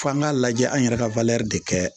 F'an k'a lajɛ an yɛrɛ ka de kɛ